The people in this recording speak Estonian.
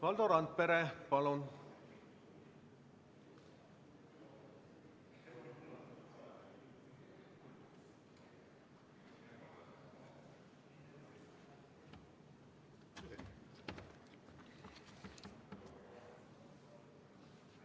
Valdo Randpere, palun!